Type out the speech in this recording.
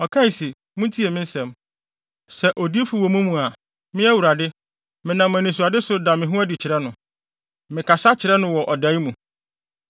ɔkae se, “Muntie me nsɛm: “Sɛ odiyifo wɔ mo mu a, Me, Awurade, menam anisoadehu so da me ho adi kyerɛ no, me kasa kyerɛ no wɔ dae mu.